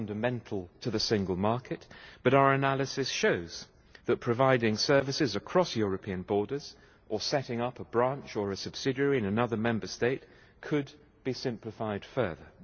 It is fundamental to the single market, but our analysis shows that providing services across European borders or setting up a branch or a subsidiary in another Member State could be simplified further.